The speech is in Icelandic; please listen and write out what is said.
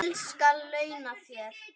Vel skal ég launa þér.